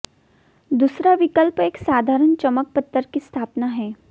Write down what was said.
दूसरा विकल्प एक साधारण चमक पत्थर की स्थापना है